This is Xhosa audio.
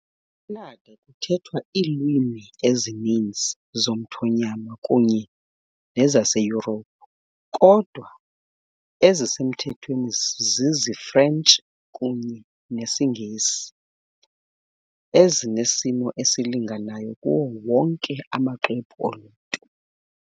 ECanada, kuthethwa iilwimi ezininzi zomthonyama kunye nezaseYurophu, kodwa ezisemthethweni ziziFrentshi kunye nesiNgesi, ezinesimo esilinganayo kuwo wonke amaxwebhu oluntu.